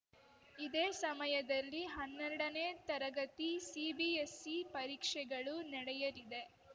ಇದೇ ಸಮಯದಲ್ಲಿ ಹನ್ನೆರಡನೇ ತರಗತಿ ಸಿಬಿಎಸ್‌ಇ ಪರೀಕ್ಷೆಗಳು ನಡೆಯಲಿದೆ